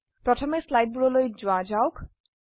প্ৰথমে স্লাইডবোৰলৈ যোৱা যাওক